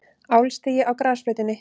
Álstigi á grasflötinni.